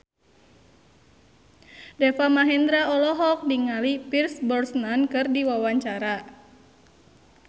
Deva Mahendra olohok ningali Pierce Brosnan keur diwawancara